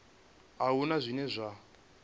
a hu na zwine zwa